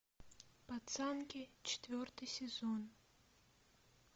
пацанки четвертый сезон